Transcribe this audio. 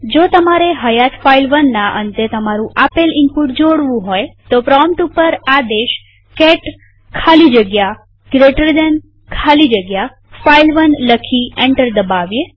જો તમારે હયાત file1ના અંતે તમારું આપેલ ઈનપુટ જોડવું હોય તો પ્રોમ્પ્ટ ઉપર આદેશ કેટ ખાલી જગ્યા જીટી ખાલી જગ્યા ફાઇલ1 લખી એન્ટર દબાવીએ